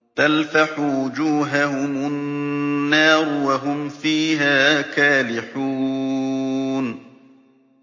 تَلْفَحُ وُجُوهَهُمُ النَّارُ وَهُمْ فِيهَا كَالِحُونَ